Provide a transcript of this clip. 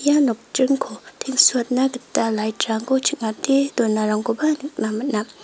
ia nokdringko teng·suatna gita lait rangko ching·ate donarangkoba nikna man·a.